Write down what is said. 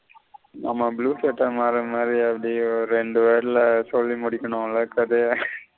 ஆமா மாறன் மாதிரி அப்டியே ஒரு ரெண்டு வரில சொல்லி முடிகனும்ல கதைய.